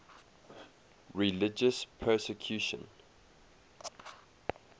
religious persecution